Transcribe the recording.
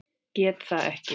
Gat það ekki.